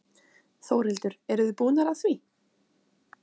Þórhildur: Eruð þið búnar að því?